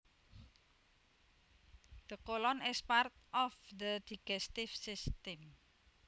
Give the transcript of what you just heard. The colon is part of the digestive system